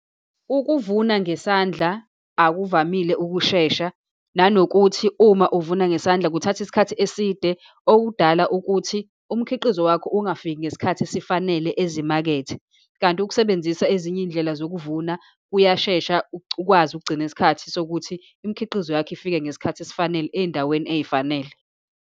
Ukuvuna ngesandla akuvamile ukushesha, nanokuthi uma uvuna ngesandla kuthatha isikhathi eside, okudala ukuthi umkhiqizo wakho ungafiki ngesikhathi esifanele ezimakethe. Kanti ukusebenzisa ezinye iy'ndlela zokuvuna kuyashesha ukwazi ukugcina isikhathi sokuthi imkhiqizo yakho ifike ngesikhathi esifanele, eyindaweni eyifanele.